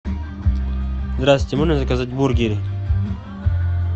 здравствуйте можно заказать бургеры